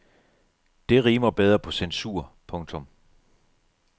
Det rimer bedre på censur. punktum